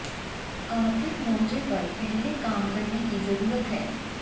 आर्थिक मोर्चे पर पहले काम करने की जरूरत है